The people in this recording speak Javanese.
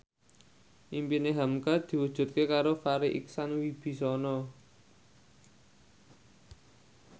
impine hamka diwujudke karo Farri Icksan Wibisana